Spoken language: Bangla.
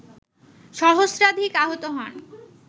সহস্রাধিক আহত হন